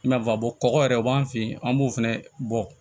I n'a fɔ kɔgɔ yɛrɛ u b'an fe yen an b'o fɛnɛ bɔ